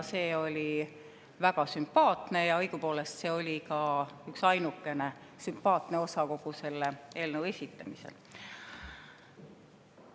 See oli väga sümpaatne ja õigupoolest oli see ainukene sümpaatne osa kogu selle eelnõu esitamisel.